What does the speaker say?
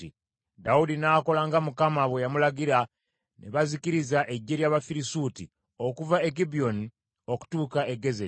Dawudi n’akola nga Mukama bwe yamulagira, ne bazikiriza eggye ly’Abafirisuuti, okuva e Gibyoni okutuuka e Gezeri.